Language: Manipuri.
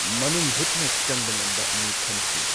ꯃꯅꯨꯡ ꯍꯨꯠꯅ ꯆꯪꯕ ꯉꯝꯕ ꯃꯤ ꯈꯟꯁꯤ꯫